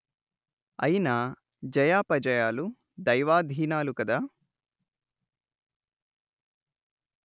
అయినా జయాపజయాలు దైవాధీనాలు కదా